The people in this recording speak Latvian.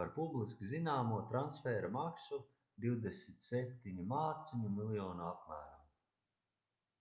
par publiski zināmo transfēra maksu £27 miljonu apmērā